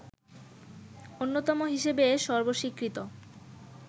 অন্যতম হিসেবে সর্বস্বীকৃত